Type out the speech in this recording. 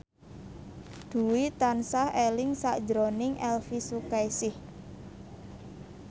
Dwi tansah eling sakjroning Elvi Sukaesih